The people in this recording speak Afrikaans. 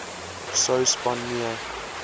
sou span nee